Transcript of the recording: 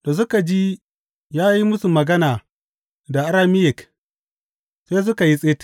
Da suka ji ya yi musu magana da Arameyik, sai suka yi tsit.